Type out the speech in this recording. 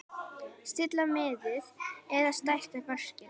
Stilla miðið eða stækka mörkin?